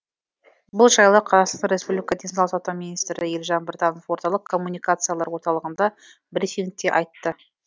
бұл жайлы қазақстан республикасы денсаулық сақтау министрі елжан біртанов орталық коммуникациялар орталығындағы брифингте айтты